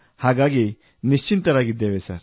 ಹಾಗಾಗಿ ನಿಶ್ಚಿಂತರಾಗಿದ್ದೇವೆ ಸರ್